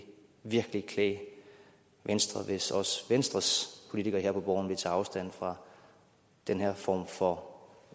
virkelig klæde venstre hvis også venstres politikere her på borgen ville tage afstand fra den her form for